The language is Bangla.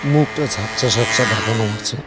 মুখটা ঝাপসা ঝাপসা ঢাকানো আছে।